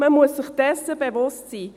Man muss sich dessen bewusst sein.